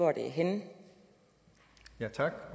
regeringen agter